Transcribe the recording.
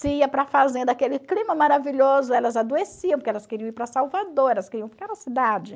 Se ia para a fazenda, aquele clima maravilhoso, elas adoeciam porque elas queriam ir para Salvador, elas queriam ir para aquela cidade.